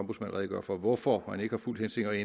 redegøre for hvorfor man ikke har fulgt henstillingerne